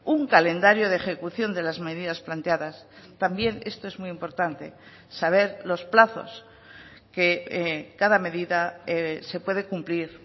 un calendario de ejecución de las medidas planteadas también esto es muy importante saber los plazos que cada medida se puede cumplir